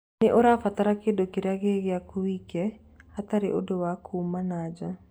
Nĩ ũrabatara kĩndũ kĩrĩa gĩ gĩaku wike, hatarĩ ũndũ wa kuuma nanja.